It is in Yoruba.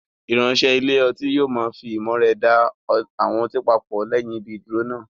Ìránṣẹ́ ilé ọtí yóò fi ìmọ̀ rẹ̀ da àwọn ọtí papọ̀ lẹ́yìn ibi ìdúró náà.